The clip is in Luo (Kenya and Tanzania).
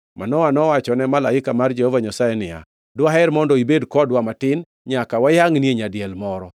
Manoa nowachone malaika mar Jehova Nyasaye niya, “Dwaher mondo ibed kodwa matin nyaka wayangʼnie nyadiel moro.”